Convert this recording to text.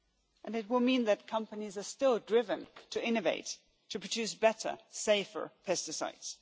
and it will mean that companies are still driven to innovate, to produce better, safer pesticides.